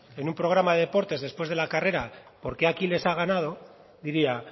en un programa de deportes después de la carrera por qué aquiles ha ganado diría